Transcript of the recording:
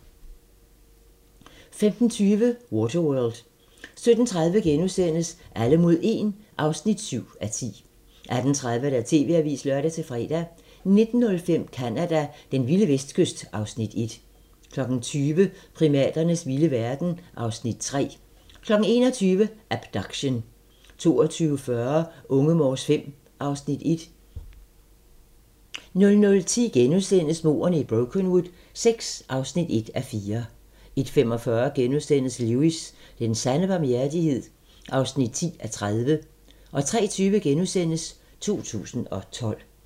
15:20: Waterworld 17:30: Alle mod 1 (7:10)* 18:30: TV-avisen (lør-fre) 19:05: Canada: Den vilde vestkyst (Afs. 1) 20:00: Primaternes vilde verden (Afs. 3) 21:00: Abduction 22:40: Unge Morse V (Afs. 1) 00:10: Mordene i Brokenwood VI (1:4)* 01:45: Lewis: Den sande barmhjertighed (10:30)* 03:20: 2012 *